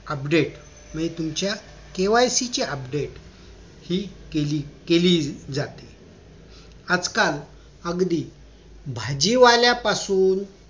update म्हणजे तुमच्या KYC ची update हि केली केली जाते आजकाल अगदी भाजी वाल्यापासून